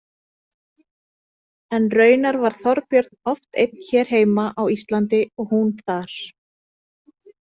En raunar var Þorbjörn oft einn hér heima á Íslandi og hún þar.